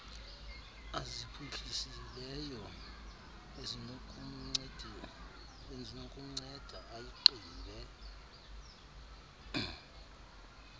aziphuhlisileyo ezinokumnceda ayigqibe